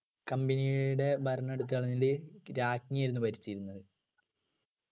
company യുടെ ഭരണം എടുത്തു കളഞ്ഞിട്ട് രാജ്ഞിയായിരുന്നു ഭരിച്ചിരുന്നത്